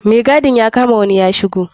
Mai gadin ya kama wani ya shigo.